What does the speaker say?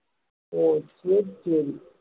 ஓ சரி சரி